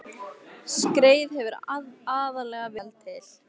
Skreið hefur aðallega verið seld til